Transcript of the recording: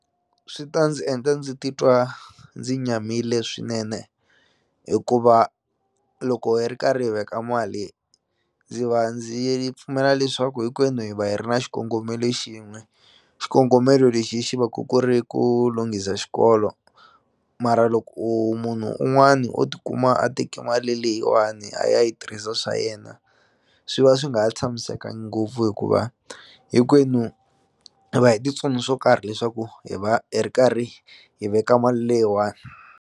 Swi ta ndzi endla ndzi titwa ndzi nyamile swinene hikuva loko hi ri karhi hi veka mali ndzi va ndzi pfumela leswaku hinkwenu hi va hi ri na xikongomelo xin'we xikongomelo lexi hi xi va ku ku ri ku lunghisa xikolo mara loko u munhu un'wani o tikuma a teki mali leyiwani a ya yi tirhisa swa yena swi va swi nga ha tshamisekangi ngopfu hikuva hinkwenu hi va hi ti tsone swo karhi leswaku hi va hi ri karhi hi veka mali leyiwani.